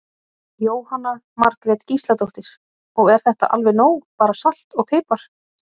Jóhanna Margrét Gísladóttir: Og er þetta alveg nóg bara salt og pipar?